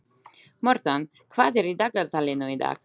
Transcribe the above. Mortan, hvað er í dagatalinu í dag?